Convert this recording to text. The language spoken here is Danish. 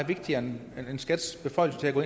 vigtigere end skats beføjelser til at gå